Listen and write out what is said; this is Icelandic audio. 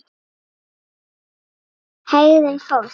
HEGÐUN FÓLKS